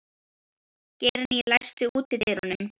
Geirný, læstu útidyrunum.